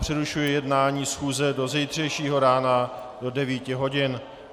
Přerušuji jednání schůze do zítřejšího rána do 9 hodin.